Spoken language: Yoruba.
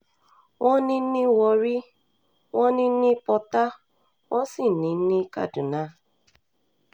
wọ́n ní ní warri wọ́n ní um ní pọ́tà wọ́n sì um ní ní kaduna